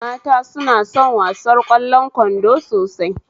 Mata suna son wasar ƙwallon kwando sosai